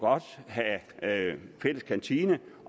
have fælles kantine